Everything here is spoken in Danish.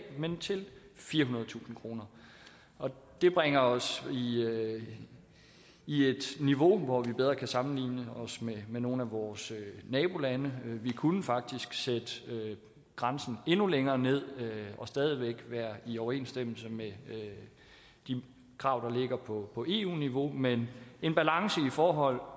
men til firehundredetusind kroner det bringer os i et niveau hvor vi bedre kan sammenligne os med nogle af vores nabolande vi kunne faktisk sætte grænsen endnu længere ned og stadig væk være i overensstemmelse med de krav der ligger på eu niveau men i forhold